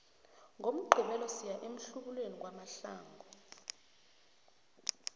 ngomgqibelo siya emhlubulweni kwamahlangu